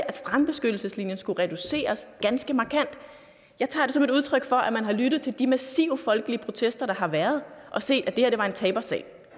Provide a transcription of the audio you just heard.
at strandbeskyttelseslinjen skulle reduceres ganske markant jeg tager det som et udtryk for at man har lyttet til de massive folkelige protester der har været og set at det her var en tabersag